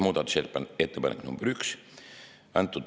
Muudatusettepanek nr 1.